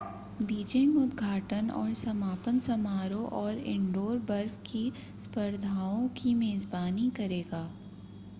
Beijing उद्घाटन और समापन समारोह और इनडोर बर्फ की स्पर्धाओं की मेजबानी करेगा